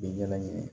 Bɛ ɲɛnajɛ